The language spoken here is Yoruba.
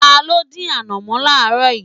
Ta ló dín ànọ̀mó láaaro yìí?